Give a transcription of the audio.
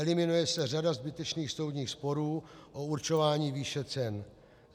Eliminuje se řada zbytečných soudních sporů o určování výše cen.